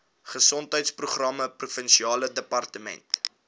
gesondheidsprogramme provinsiale departement